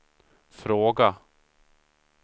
fråga